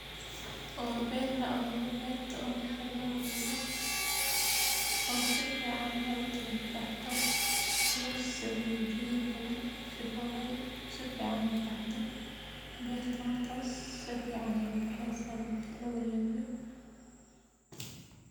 Wa ber la awure, berta oo marka laawuro oo sifican in ay ukalabaxdho, losameyo jidad badhan sifolo oy sifican u baxdho. Berta markas sificsn sy ubexeysaah